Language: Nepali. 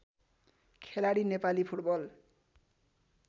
खेलाडी नेपाली फुटबल